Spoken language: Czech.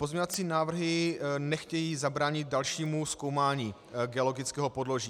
Pozměňovací návrhy nechtějí zabránit dalšímu zkoumání geologického podloží.